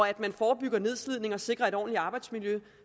at man forebygger nedslidning og sikrer et ordentlig arbejdsmiljø